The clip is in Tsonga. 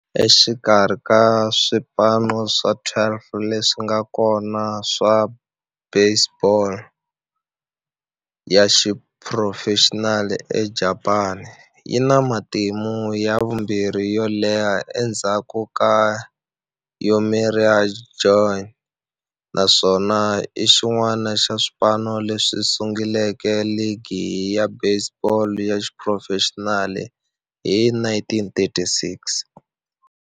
Exikarhi ka swipano swa 12 leswi nga kona swa baseball ya xiphurofexinali eJapani, yi na matimu ya vumbirhi yo leha endzhaku ka Yomiuri Giants, naswona i xin'wana xa swipano leswi sunguleke ligi ya baseball ya xiphurofexinali hi 1936.